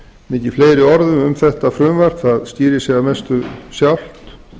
mikið fleiri orðum um þetta frumvarp það skýrir sig að mestu sjálft